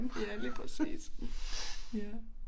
Ja lige præcis ja